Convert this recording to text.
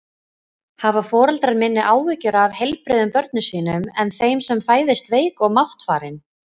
Hafa foreldrar minni áhyggjur af heilbrigðum börnum sínum en þeim sem fæðast veik og máttfarin?